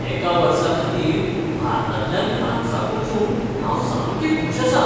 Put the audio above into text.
एका वर्साखातीर भारतांतल्यान फ्रांसाक वचूंक हांव सामकें खूश आसां.